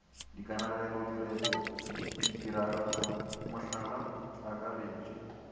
dikanegelo direto ditiragatšo mohlala akaretša